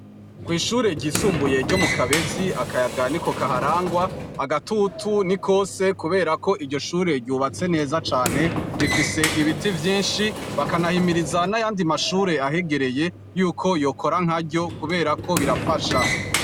Kwishure ry'isumbuye ryo Mukabezi akayaga niko kaharangwa, agaturu nikose kubera ko iryo Shure ryubatswe neza cane, rifise Ibiti vyinshi bakanahimiriza nayandi mashure ahegereye yuko yokora nkaryo kuberako birafasha.